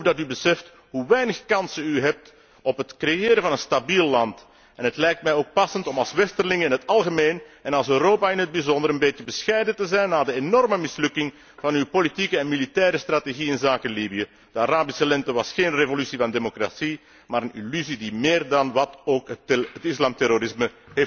Ik hoop dat u beseft hoe weinig kansen u hebt op het creëren van een stabiel land en het lijkt mij ook passend als westerling in het algemeen en als Europa in het bijzonder, een beetje bescheiden te zijn na de enorme mislukking van uw politieke en militaire strategie inzake Libië. De Arabische lente was geen revolutie van democratie, maar een illusie die meer dan wat ook het islamterrorisme heeft versterkt.